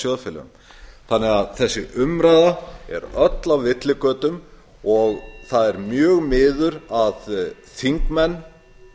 sjóðfélögum þessi umræða er öll á villigötum og það er mjög miður að þingmenn